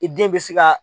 I den bɛ se ka